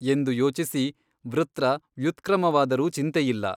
ಎಂದು ಯೋಚಿಸಿ ವೃತ್ರ ವ್ಯುತ್ಕೃಮವಾದರೂ ಚಿಂತೆಯಿಲ್ಲ.